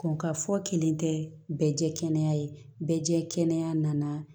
Ko ka fɔ kelen tɛ bɛɛ kɛnɛya ye bɛɛ jɛ kɛnɛya nana